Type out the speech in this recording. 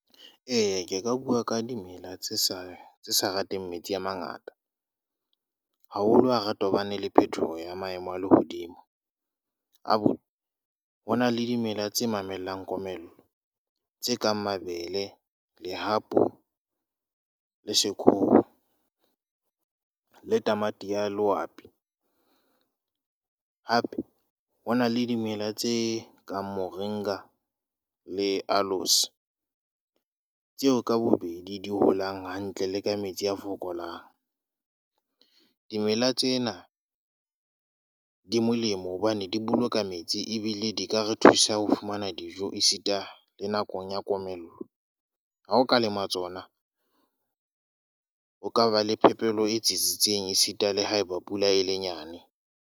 Eya ke ka bua ka dimela tse sa tse sa rateng metsi a mangata. Haholo ha re tobane le phetoho ya maemo a lehodimo. A bo, ho na le dimela tse mamellang komello. Tse kang mabele, lehapu le le tamati ya . Hape ho na le dimela tse kang moringa le alose, tseo ka bobedi di holang hantle le kametsi a fokolang. Dimela tsena di molemo hobane di boloka metsi ebile di ka re thusa ho fumana dijo esita le nakong ya komello. Ha o ka lema tsona, o ka ba le phepelo e tsitsitseng esita le haeba pula e le nyane.